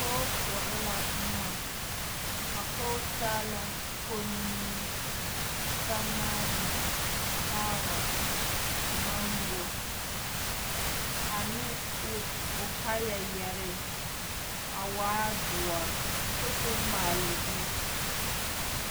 Pɔge koɔrɔ la boma a pɔge taa la kommie, samaane, kaarote, maŋgo ane o kaaya yɛre a waa doɔre kyɛ k'o maale o zu.